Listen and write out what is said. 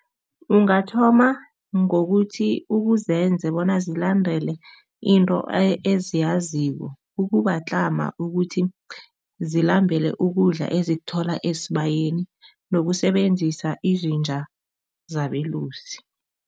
Ungathoma ngokuthi ukuzenze bona zilandele into eziyaziko, ukubatlama ukuthi zilambele ukudla ezikuthola esibayeni nokusebenzisa izinja zabelusi.